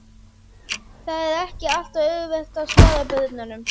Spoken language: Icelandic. Það er ekki alltaf auðvelt að svara börnunum.